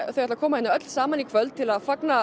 þau ætla að koma hér saman í kvöld til að fagna